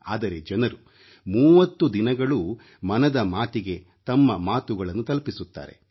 ಆದರೆ ಜನರು 30 ದಿನಗಳೂ ಮನದ ಮಾತಿಗೆ ತಮ್ಮ ಮಾತುಗಳನ್ನು ತಲುಪಿಸುತ್ತಾರೆ